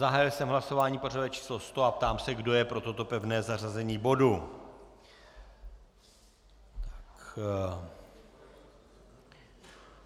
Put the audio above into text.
Zahájil jsem hlasování pořadové číslo 100 a ptám se, kdo je pro toto pevné zařazení bodu.